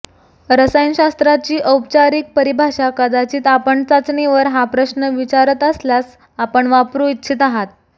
रसायनशास्त्राची औपचारिक परिभाषा कदाचित आपण चाचणीवर हा प्रश्न विचारत असल्यास आपण वापरू इच्छित आहात